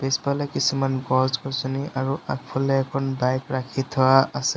পিছফালে কিছুমান গছ গছনি আৰু আগফালে এখন বাইক ৰাখি থোৱা আছে।